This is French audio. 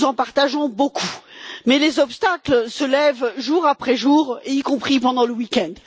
Nous en partageons beaucoup mais les obstacles se lèvent jour après jour, y compris pendant le week end.